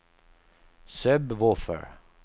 sub-woofer